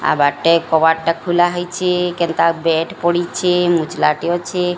ଆବାଟେ କବାଟ ଟା ଖୋଲା ହେଇଛି କେନ୍ତା ବେଡ୍ ପଡ଼ିଛି ମୁଚୁଲଟେ ଅଛି।